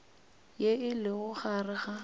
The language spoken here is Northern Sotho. ye e lego gare ga